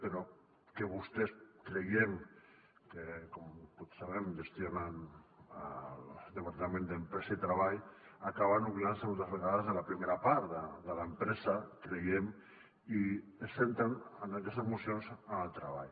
però que vostès creiem que com tots sabem gestionen el departament d’empresa i treball acaben oblidant se moltes vegades de la primera part de l’empresa creiem i es centren en aquestes mocions en el treball